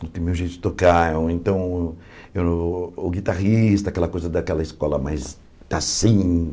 não tem meu jeito de tocar, então o o guitarrista, aquela coisa daquela escola, mas tá assim.